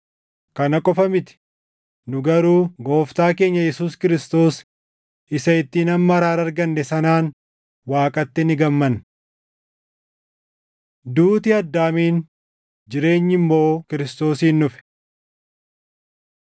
Kana qofa miti; nu garuu Gooftaa keenya Yesuus Kiristoos isa ittiin amma araara arganne sanaan Waaqatti ni gammanna. Duuti Addaamiin, Jireenyi Immoo Kiristoosiin Dhufe